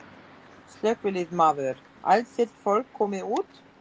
Slökkviliðsmaður: Allt þitt fólk komið út?